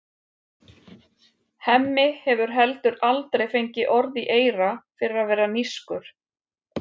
Hemmi hefur heldur aldrei fengið orð í eyra fyrir að vera nískur.